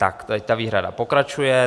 Tak teď ta výhrada pokračuje.